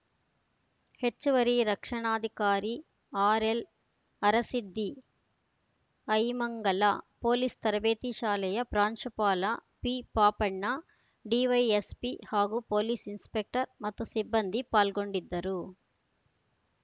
ಹೆಚ್ಚುವರಿ ರಕ್ಷಣಾಧಿಕಾರಿ ಆರ್‌ಎಲ್‌ಅರಸಿದ್ಧಿ ಐಮಂಗಲ ಪೊಲೀಸ್‌ ತರಬೇತಿ ಶಾಲೆಯ ಪ್ರಾಂಶುಪಾಲ ಪಿಪಾಪಣ್ಣ ಡಿವೈಎಸ್‌ಪಿ ಹಾಗೂ ಪೊಲೀಸ್‌ ಇನ್ಸ್‌ಪೆಕ್ಟರ್‌ ಮತ್ತು ಸಿಬ್ಬಂದಿ ಪಾಲ್ಗೊಂಡಿದ್ದರು